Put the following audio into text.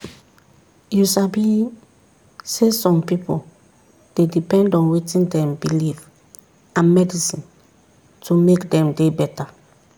you sabi saysome pipu dey depend on wetin dem believe and medicine to make dem dey beta.